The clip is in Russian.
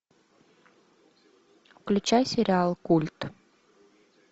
включай сериал культ